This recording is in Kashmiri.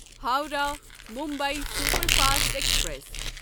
Howrah Mumbai superfast express